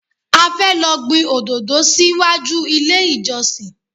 A fẹ́ lọ gbin òdòdó sí wájú ilé ìjọsìn.